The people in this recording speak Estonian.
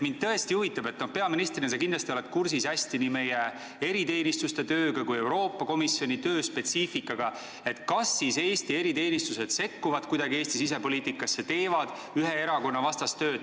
Mind tõesti huvitab – peaministrina sa kindlasti oled kursis nii meie eriteenistuste tööga kui ka Euroopa Komisjoni töö spetsiifikaga –, kas Eesti eriteenistused sekkuvad kuidagi Eesti sisepoliitikasse, teevad ühe erakonna vastast tööd.